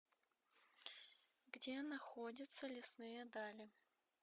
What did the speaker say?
где находится лесные дали